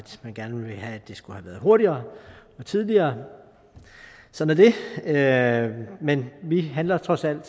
man gerne ville have det skulle have været hurtigere og tidligere sådan er det men vi handler trods alt